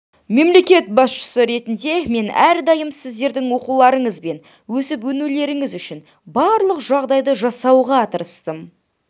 мемлекет басшысы ретінде мен әрдайым сіздердің оқуларыңыз бен өсіп-өнулеріңіз үшін барлық жағдайды жасауға тырыстым